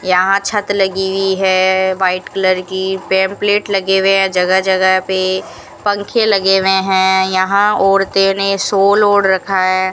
यहां छत लगी हुई है वाइट कलर की पंपलेट लगे हुए जगह जगह पे पंखे लगे हुए हैं यहां औरतें ने शॉल ओढ़ रखा है।